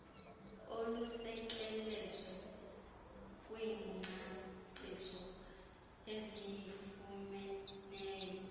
olusekelezwe kwingcaciso esiyifumeneyo